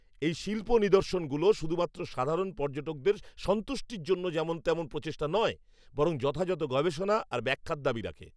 এই শিল্প নিদর্শনগুলো শুধুমাত্র সাধারণ পর্যটকদের সন্তুষ্টির জন্য যেমন তেমন প্রচেষ্টা নয়, বরং যথাযথ গবেষণা আর ব্যাখ্যার দাবি রাখে।